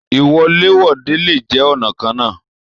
Iwọ̀lèwọ̀de le jẹ ọ̀nàkọnà.